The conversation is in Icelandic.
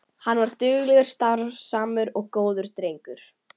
Hann var duglegur, starfsamur og góður drengur.